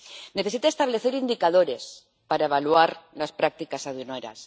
necesita establecer indicadores para evaluar las prácticas aduaneras.